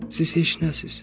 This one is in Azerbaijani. Siz heç nəsəz.